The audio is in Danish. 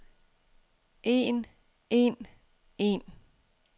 en en en